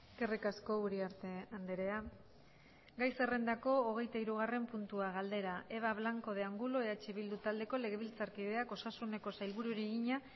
eskerrik asko uriarte andrea gai zerrendako hogeitahirugarren puntua galdera eva blanco de angulo eh bildu taldeko legebiltzarkideak osasuneko sailburuari egina